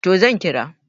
to zan kira